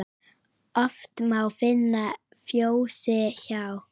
Oft má finna fjósi hjá.